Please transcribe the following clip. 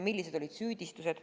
Millised olid süüdistused?